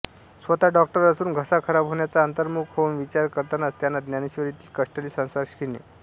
स्वतः डॉक्टर असून घसा खराब होण्याचा अंतर्मुख होऊन विचार करतानाच त्यांना ज्ञानेश्वरीतील कष्टले संसार शीणे